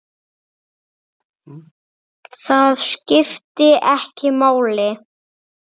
Það skipti ekki máli.